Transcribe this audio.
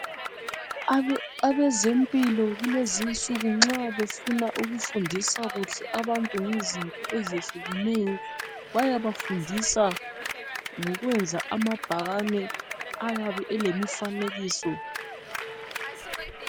Abezempilo kulezi insuku nxa befuna ukufundisa abantu kuhle ngezinto ezehlukeneyo bayabafundisa ngokwenza ama bhakane ayabe elemifanekiso.